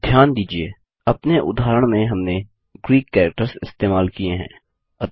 ध्यान दीजिये अपने उदाहरण में हमने ग्रीक कैरेक्टर्स इस्तेमाल किये हैं